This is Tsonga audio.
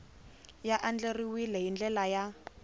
ya andlariwile hi ndlela ya